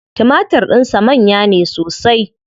Timatir din sa manya ne sosai.